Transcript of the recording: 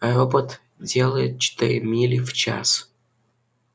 робот делает четыре мили в час